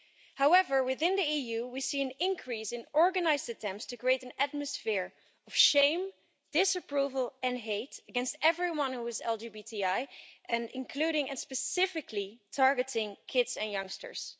However, within the EU, we see an increase in organised attempts to create an atmosphere of shame, disapproval and hate against everyone who is LGBTI including, and specifically targeting, kids and youngsters.